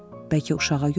Bəlkə uşağa görə?